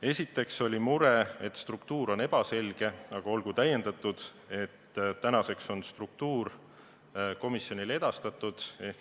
Esiteks oli mure, et struktuur on ebaselge, aga olgu tähendatud, et nüüdseks on struktuur komisjonile edastatud.